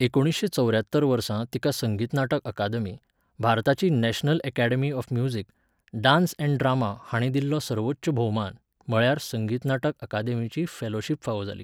एकुणिसशें चौऱ्यात्तर वर्सा तिका संगीत नाटक अकादमी, भारताची national academy of music, dance and drama हांणी दिल्लो सर्वोच्च भोवमान, म्हळ्यार संगीत नाटक अकादेमीची फेलोशिप फावो जाली.